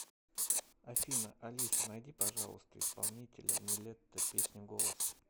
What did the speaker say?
афина алиса найди пожалуйста исполнителя нилетто песню голос